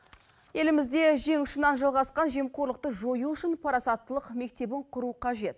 елімізде жең ұшынан жалғасқан жемқорлықты жою үшін парасаттылық мектебін құру қажет